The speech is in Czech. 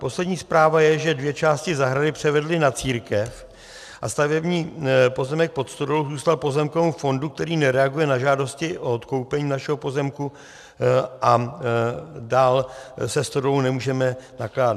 Poslední zpráva je, že dvě části zahrady převedli na církev a stavební pozemek pod stodolou zůstal pozemkovému fondu, který nereaguje na žádosti o odkoupení našeho pozemku, a dál se stodolou nemůžeme nakládat.